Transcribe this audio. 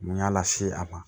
N y'a lase a ma